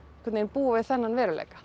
búa við þennan veruleika